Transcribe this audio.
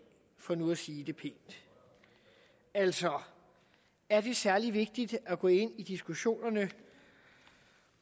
for nu at sige det pænt altså er det særlig vigtigt at gå ind i diskussioner